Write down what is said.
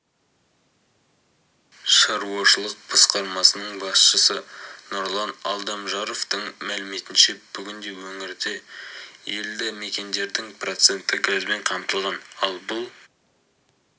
шаруашылық басқармасының басшысы нұрлан алдамжаровтың мәліметінше бүгінде өңірдегі елді мекендердің проценті газбен қамтылған ал бұл